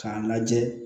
K'a lajɛ